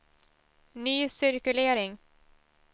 ny cirkulering